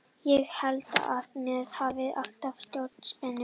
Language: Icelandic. Ég held að menn hafi alltaf stjórn á spennustiginu fræga.